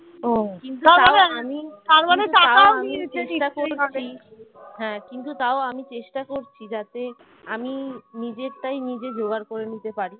হ্যাঁ কিন্তু তাও আমি চেষ্টা করছি যাতে আমি নিজেরটাই নিজে জোগাড় করে নিতে পারি